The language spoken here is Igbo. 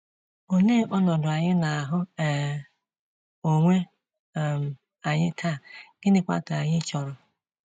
Olee ọnọdụ anyị na-ahụ um onwe um anyị taa, gịnịkwa ka anyị chọrọ?